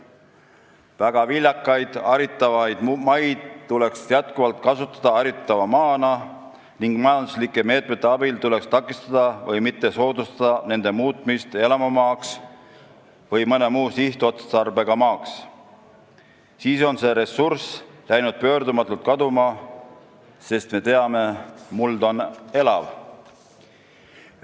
väga viljakate haritavate maade kasutamisest jätkuvalt haritava maana, et majanduslike meetmete abil takistada või mitte soodustada nende muutmist elamumaaks või mõne muu sihtotstarbega maaks, kuna siis on see ressurss läinud pöördumatult kaduma, sest me teame, et muld on elav.